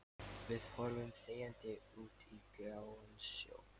Við horfum þegjandi út á gráan sjó.